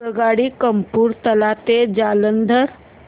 आगगाडी कपूरथला ते जालंधर